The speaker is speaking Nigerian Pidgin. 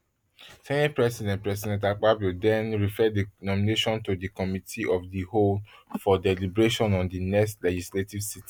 senate president president akpabio den refer di nomination to di committee of di whole for deliberation on di next legislative sitting